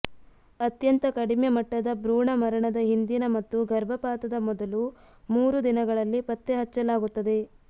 ಅತ್ಯಂತ ಕಡಿಮೆ ಮಟ್ಟದ ಭ್ರೂಣ ಮರಣದ ಹಿಂದಿನ ಮತ್ತು ಗರ್ಭಪಾತದ ಮೊದಲು ಮೂರು ದಿನಗಳಲ್ಲಿ ಪತ್ತೆ ಹಚ್ಚಲಾಗುತ್ತದೆ